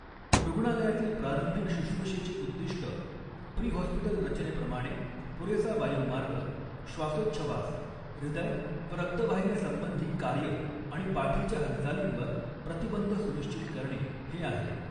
रूग्णालयातील प्रारंभिक शुश्रुषेचे उद्दिष्ट, प्री हॉस्पिटल रचनेप्रमाणे, पुरेसा वायुमार्ग, श्वासोच्छवास, हृदय व रक्तवाहिन्यासंबंधी कार्य आणि पाठीच्या हालचालींवर प्रतिबंध सुनिश्चित करणे हे आहे.